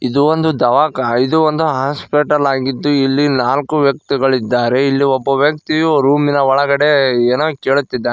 ಇದು ಒಂದು ದವಾಖಾ ಇದು ಒಂದು ಹಾಸ್ಪಿಟಲ್ ಆಗಿದ್ದು ಇಲ್ಲಿ ನಾಲ್ಕು ವ್ಯಕ್ತಿಗಳು ಇದ್ದಾರೆ ಇಲ್ಲಿ ಒಬ್ಬ ವ್ಯಕ್ತಿ ರೂಮಿನ ಒಳಗಡೆ ಏನೋ ಕೇಳುತ್ತಿದ್ದಾನೆ.